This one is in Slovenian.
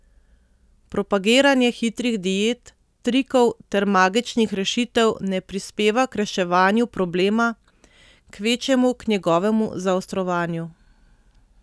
Propagiranje hitrih diet, trikov ter magičnih rešitev ne pripeva k reševanju problema, kvečjemu k njegovemu zaostrovanju.